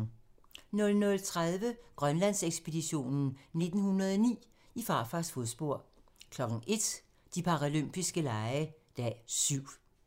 00:30: Grønlandsekspeditionen 1909: I farfars fodspor 01:00: De paralympiske lege - dag 7